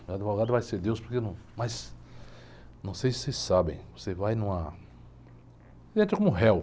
Meu advogado vai ser Deus, porque num, mas não sei se vocês sabem, você vai numa, entra como um réu.